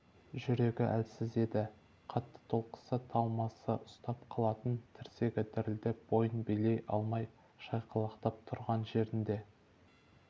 жүрегі әлсіз еді қатты толқыса талмасы ұстап қалатын тірсегі дірілдеп бойын билей алмай шайқалақтап тұрған жерінде